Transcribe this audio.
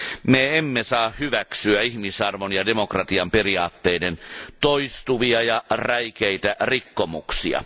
Me emme saa hyväksyä ihmisarvon ja demokratian periaatteiden toistuvia ja räikeitä rikkomuksia.